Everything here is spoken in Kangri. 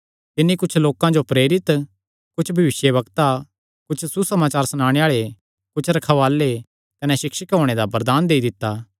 तिन्नी कुच्छ लोकां जो प्रेरित कुच्छ भविष्यवक्ता कुच्छ सुसमाचार सनाणे आल़े कुच्छ रखवाल़े कने सिक्षक होणे दा वरदान देई दित्ता